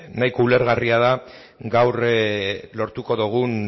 nahiko ulergarria da gaur lortuko dugun